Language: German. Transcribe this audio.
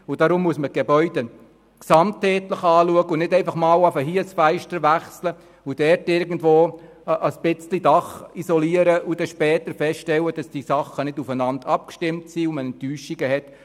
Darum muss man die Gebäude gesamtheitlich betrachten und nicht einfach mal hier ein Fenster auswechseln und mal dort irgendwo ein bisschen etwas vom Dach isolieren, um später festzustellen, dass diese Dinge nicht aufeinander abgestimmt wurden und man enttäuscht ist.